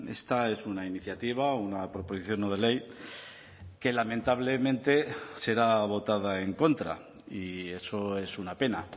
esta es una iniciativa una proposición no de ley que lamentablemente será votada en contra y eso es una pena